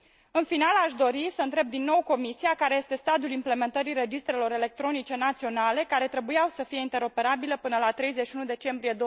În final, aș dori să întreb din nou Comisia, care este stadiul implementării registrelor electronice naționale care trebuiau să fie interoperabile până la 31 decembrie